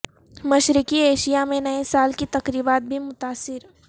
مشرقی ایشیا میں نئے سال کی تقریبات بھی متاثر